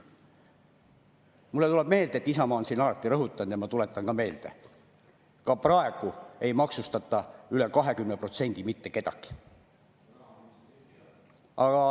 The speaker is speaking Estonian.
Mulle tuleb meelde, et Isamaa on siin alati rõhutanud, ja ma tuletan meelde, et ka praegu ei maksustata mitte kedagi üle 20%.